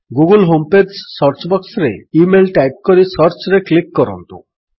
Google home page search ବକ୍ସରେ email type କରି ସର୍ଚ୍ଚରେ କ୍ଲିକ୍ କରନ୍ତୁ